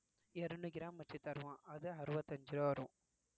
இருநூறு gram வச்சி தருவான் அது அறுபத்தி அஞ்சு ரூவா வரும்